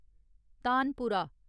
तानपुरा